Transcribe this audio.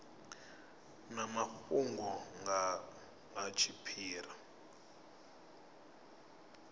na mafhungo nga ha tshiphiri